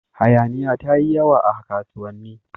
Hayaniya ta yi yawa a kasuwanni.